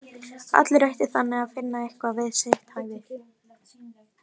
Allir ættu þannig að finna eitthvað við sitt hæfi!